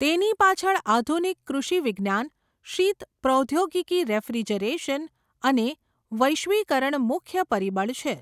તેની પાછળ આધુનિક કૃષિવિજ્ઞાન, શીત પ્રૌદ્યોગિકી રેફ્રીજરેશન, અને વૈશ્વિકરણ મુખ્ય પરિબળ છે.